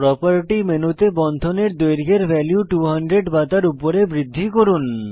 property মেনুতে বন্ধনের দৈর্ঘ্যের ভ্যালু 200 বা তার উপরে বৃদ্ধি করুন